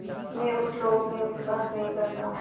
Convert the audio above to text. मैं उस लोक में विश्वास नहीं करता